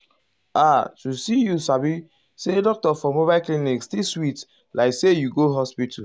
ah to see you sabi say doctor for mobile clinic still sweet like say you go hospital.